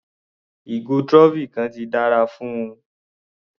Ìgò trophy kan ti dára fún un.